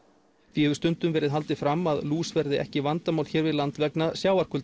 því hefur stundum verið haldið fram að lús verði ekki vandamál hér við land vegna